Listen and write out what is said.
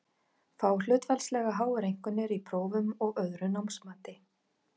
Fá hlutfallslega háar einkunnir í prófum og öðru námsmati.